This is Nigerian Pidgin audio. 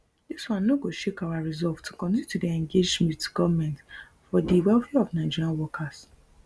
dis one no go shake our resolve to continue to dey engage wit goment for di welfare of nigerian workers